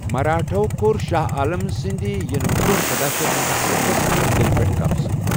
مراٹھاہو كو٘رشاہ عالم سٕندِ ینہٕ بر٘ونہہ سداہ شیتھ اکَستتھس منز دِلہِ پیٹھ قبضہ ۔